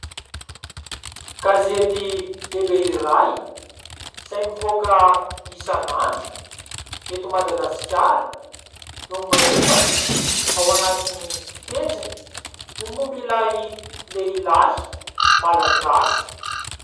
Gazety lehibe iray izay mivoaka isan'andro eto Madagasikara no miresaka ao anatiny pejiny ny momba ilay lehilahy malagasy.